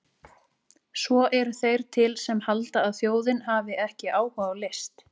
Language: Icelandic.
Svo eru þeir til sem halda að þjóðin hafi ekki áhuga á list!